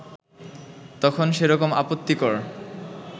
তখন সেরকম আপত্তিকর